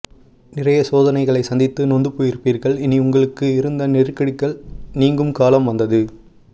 நிறைய சோதனைகளை சந்தித்து நொந்து போயிருப்பீர்கள் இனி உங்களுக்கு இருந்த நெருக்கடிகள் நீங்கும் காலம் வந்து